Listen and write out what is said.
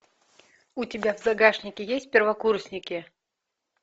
у тебя в загашнике есть первокурсники